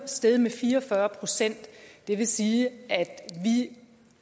steget med fire og fyrre procent det vil sige at